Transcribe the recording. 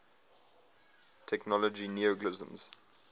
technology neologisms